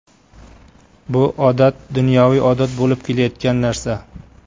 Bu odat dunyoviy odat bo‘lib kelayotgan narsa.